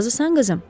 Razısan, qızım?